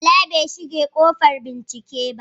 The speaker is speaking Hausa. Bala bai shige ƙofar bincike ba.